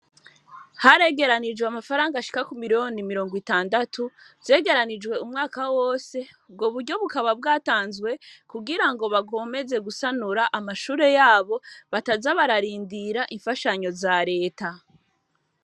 Haregeranijwe, amafaranga, ashika ku miriyoni mirongo itandatu, zegeranijwe umwaka wose; ubwo buryo, bukaba bwatanzwe, kugira ngo, bakomeze gusanura, amashure yabo, bataza bararindira, imfashanyo za leta.